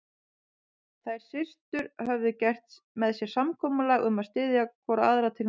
Þær systur höfðu gert með sér samkomulag um að styðja hvor aðra til náms.